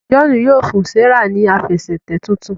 John yíò fún Serah ní Àfẹsẹ̀tẹ̀ títún.